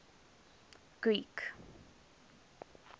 greek